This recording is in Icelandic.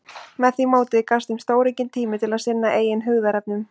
Með því móti gafst þeim stóraukinn tími til að sinna eigin hugðarefnum.